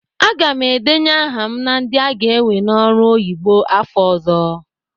Aga m edenye aha m na ndị aga ewe n'ọrụ oyibo afọ ọ̀zọ́.